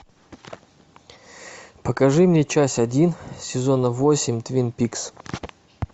покажи мне часть один сезона восемь твин пикс